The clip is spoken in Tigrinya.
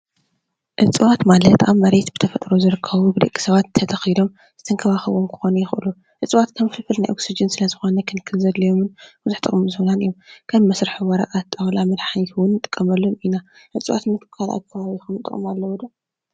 እፅዋት ማለት አብ መሬት ብ ተፈጥሮ ዝርከቡ ብ ደቂ ሰባት ተተኪሎም ዝንከባከብዎም ክኮኑ ይክእሉ። እፅዋት ከም ፍልፍል ናይ ኦክስጅን ስለ ዝኾነ ፍሉይ ክንክን ዘድልዮምን ብዙሕ ጥቅምን ዝህቡና እዮም። ከም መስርሒ ወረቀት ፣ ጣውላ ፣መድሓኒት ንምሰራሕ እውን ንጥቀመሎም ኢና። እፅዋት ካልኦት ብ ከባቢኩም ዝጠቅምኩም አለዉ ዶ?